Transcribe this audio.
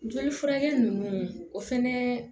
Joli furakɛ nunnu o fɛnɛ